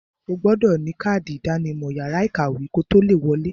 O gbọdọ̀ ní kádì ìdánimọ̀ yàrá ìkàwé kotó le wọ̀ọ.